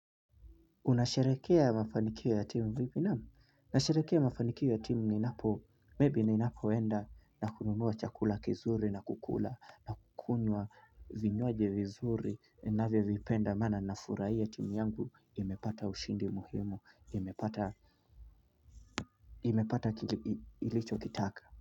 Unasherekea mafanikio ya timu vipi? Naam, nasharekea mafanikio ya timu ninapo, maybe ninapoenda na kununua chakula kizuri na kukula nakunywa vinywaji vizuri navyovipenda maana nafurahia timu yangu imepata ushindi muhimu, imepata imepata ilicho kitaka.